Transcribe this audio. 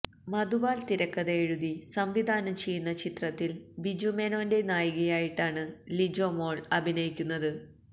മധുപാല് തിരക്കഥ എഴുതി സംവിധാനം ചെയ്യുന്ന ചിത്രത്തില് ബിജു മേനോന്റെ നായികയായിട്ടാണ് ലിജോമോള് അഭിനയിക്കുന്നത്